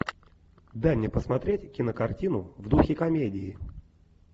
дай мне посмотреть кинокартину в духе комедии